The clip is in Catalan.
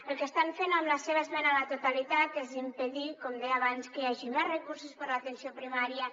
el que estan fent amb la seva esmena a la totalitat és impedir com deia abans que hi hagi més recursos per a l’atenció primària